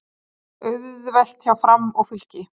Auðvelt hjá Fram og Fylki